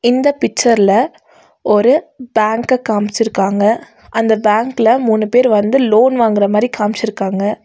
இந்த பிச்சர்ல ஒரு பேங்க காம்ச்சுருக்காங்க அந்த பேங்க்ல மூணு பேர் வந்து லோன் வாங்குற மாரி காம்ச்சுருக்காங்க.